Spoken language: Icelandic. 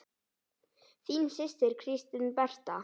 Þín systir, Kristín Berta.